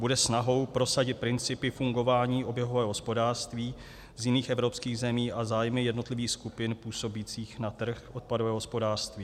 Bude snahou prosadit principy fungování oběhového hospodářství z jiných evropských zemí a zájmy jednotlivých skupin působících na trh odpadového hospodářství.